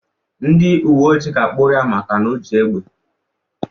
Ndị uwe ojii ga-akpuru ya maka o ji egbe.